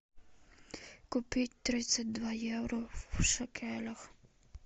купить тридцать два евро в шекелях